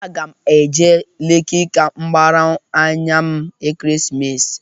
Aga m eje Leki ka m gbaara anya m Ekeresimesi.